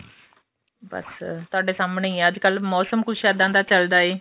ਬੱਸ ਤੁਹਾਡੇ ਸਾਹਮਣੇ ਹੀ ਏ ਅੱਜਕਲ ਮੋਸਮ ਕੁੱਝ ਇੱਦਾਂ ਚੱਲਦਾ ਏ